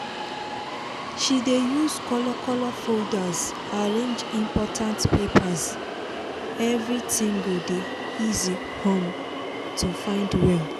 she dey use color color folders arrange important papers everything go dey easy um to find well